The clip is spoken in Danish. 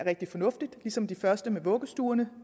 rigtig fornuftig ligesom det første med vuggestuerne